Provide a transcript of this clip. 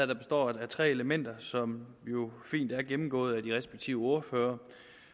der består af tre elementer som jo fint er gennemgået af de respektive ordførere